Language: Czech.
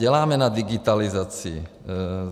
Děláme na digitalizaci.